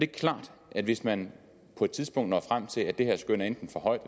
klart at hvis man på et tidspunkt når frem til at det her skøn er enten for højt